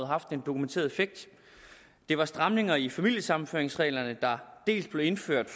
haft en dokumenteret effekt det var stramninger i familiesammenføringsreglerne der blev indført